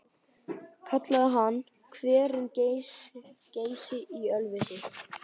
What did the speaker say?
Kallaði hann hverinn Geysi í Ölfusi.